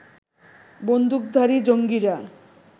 বন্দুকধারী জঙ্গিরা